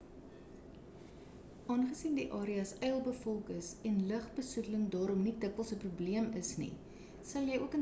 aangesien die areas yl bevolk is en lig besoedeling daarom nie dikwels 'n problem is nie sal jy ook in staat wees om die sterre te geniet